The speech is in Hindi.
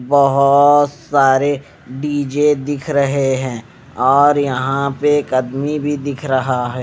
बहोत सारे डी_जे दिख रहे हैं और यहां पे एक अदमी भी दिख रहा है।